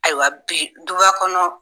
Ayiwa bi du ba kɔnɔ